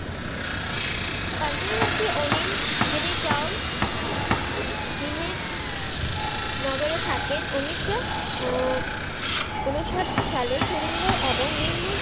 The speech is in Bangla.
পাঞ্জাবী ভাসি আনিল চাউল দিনেপ নগরে থাকেন তিনি আহ উনিশশো উনষাট সালে সুরিন্দর এবং নির্মল